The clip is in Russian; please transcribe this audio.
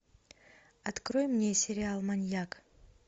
открой мне сериал маньяк